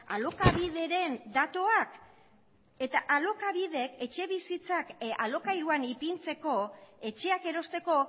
alokabideren datuak eta alokabidek etxebizitzak alokairuan ipintzeko etxeak erosteko